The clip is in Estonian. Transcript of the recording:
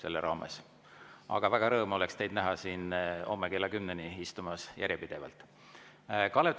Aga rõõm oleks teid näha siin järjepidevalt istumas homme kella 10‑ni.